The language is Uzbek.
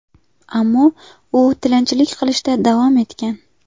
Ammo u tilanchilik qilishda davom etgan.